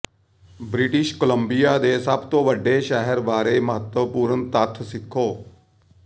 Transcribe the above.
British Columbia ਦੇ ਸਭ ਤੋਂ ਵੱਡੇ ਸ਼ਹਿਰ ਬਾਰੇ ਮਹੱਤਵਪੂਰਨ ਤੱਥ ਸਿੱਖੋ